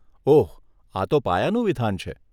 ઓહ, આ તો પાયાનું વિધાન છે.